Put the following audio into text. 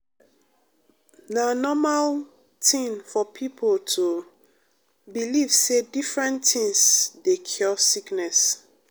na normal tin for pipo to believe say different tins dey cure sickness.